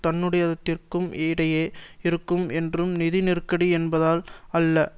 தன்னுடையதிற்கும் இடையே இருக்கும் என்றும் நிதி நெருக்கடி என்பதால் அல்ல